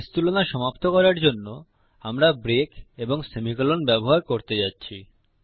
case তুলনা সমাপ্ত করার জন্য আমরা ব্রেক এবং সেমিকোলন ব্যবহার করতে যাচ্ছি